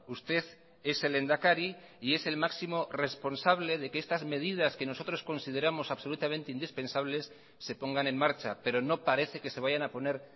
usted es el lehendakari y es el máximo responsable de que estas medidas que nosotros consideramos absolutamente indispensables se pongan en marcha pero no parece que se vayan a poner